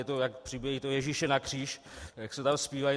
Je to, jak přibili Ježíše na kříž, jak se tam zpívá.